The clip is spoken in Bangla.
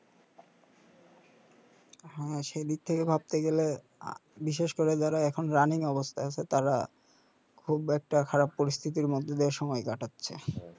হা সেদিক থেকে ভাবতে গেলে আ বিশেষ করে যারা এখন অবস্থায় আছে তারা খুব একটা খারাপ পরিস্থিতির মধ্য দিয়ে সময় কাটাচ্ছে